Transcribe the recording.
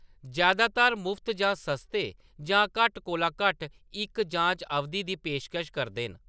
जैदातर मुफ्त जां सस्ते जां घट्ट कोला घट्ट इक जांच अवधि दी पेशकश करदे न।